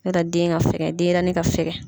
N'ɔ tɛ den ka fɛkɛn, denyɛrɛnin ka fɛkɛn.